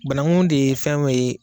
Banakun de ye fɛn dɔ ye